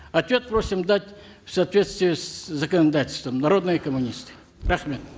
ответ просим дать в соответствии с законодательством народные коммунисты рахмет